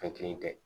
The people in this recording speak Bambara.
Fɛn kelen tɛ